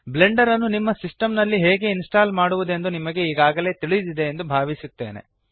Blender ನ್ನು ನಿಮ್ಮ system ನಲ್ಲಿ ಹೇಗೆ ಇನ್ಸ್ಟಾಲ್ ಮಾಡುವದೆಂದು ನಿಮಗೆ ಈಗಾಗಲೆ ತಿಳಿದಿದೆ ಎಂದು ಭಾವಿಸುತ್ತೇನೆ